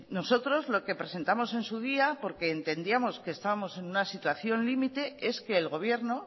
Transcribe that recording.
nosotros lo que presentamos en su día porque entendíamos que estábamos en una sítuación límite es que el gobierno